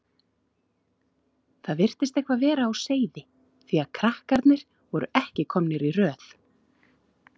Það virtist eitthvað vera á seyði því að krakkarnir voru ekki komnir í röð.